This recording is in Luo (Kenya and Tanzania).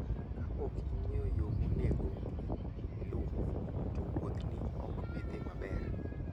Ka ok ing'eyo yo monego iluw, to wuothni ok bi dhi maber.